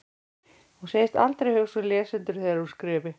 Hún segist aldrei hugsa um lesendur þegar hún skrifi.